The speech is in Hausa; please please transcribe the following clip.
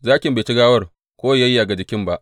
Zakin bai ci gawar ko yă yayyage jakin ba.